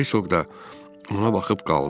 Herkoq da ona baxıb qaldı.